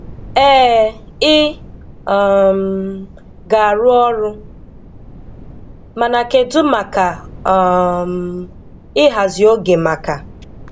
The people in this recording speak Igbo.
Ee, ị um ga-arụ ọrụ – mana kedụ maka um ịhazi oge maka